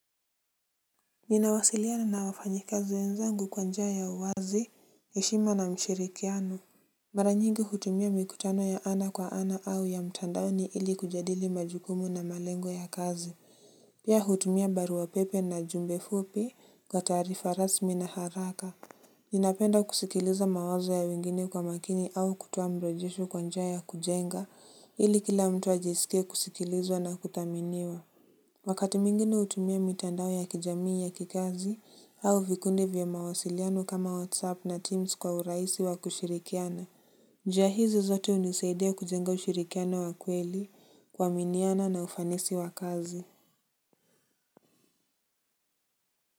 Ninawasiliana na wafanyakazi wenzangu kwa njia ya uwazi heshima na ushirikiano. Mara nyingi hutumia mikutano ya ana kwa ana au ya mtandao ni ili kujadili majukumu na malengo ya kazi. Pia hutumia barua pepe na jumbe fupi kwa tarifa rasmi na haraka. Ninapenda kusikiliza mawazalo ya wengine kwa makini au kutoa mrejesho kwa njia ya kujenga ili kila mtu ajisike kusikilizwa na kutaminiwa. Wakati mwingine utumia mitandao ya kijamii ya kikazi au vikundi vya mawasiliano kama Whatsapp na Teams kwa uraisi wa kushirikiana. Njia hizi zote unisaidea kujenga ushirikiano wa kweli kuaminiana na ufanisi wa kazi.